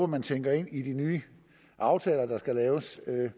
man tænker ind i de nye aftaler der skal laves